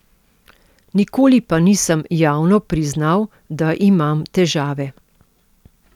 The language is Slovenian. Nikoli pa nisem javno priznal, da imam težave.